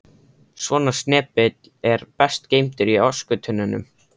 Svona snepill er best geymdur í öskutunnunni.